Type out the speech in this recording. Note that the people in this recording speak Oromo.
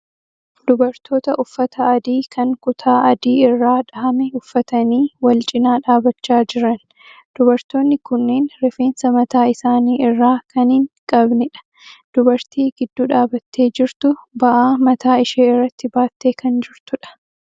Dubartoota uffata adii kan kutaa adii irraa dhahame uffatanii wal-cinaa dhaabachaa jiran. Dubartoonni kunneen rifeensa mataa isaanii irraa kan hin qabnedha. Dubartii gidduu dhaabattee jirtu ba'aa mataa ishee irratti baattee kan jirtudha.